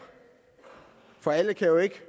for alle kan jo ikke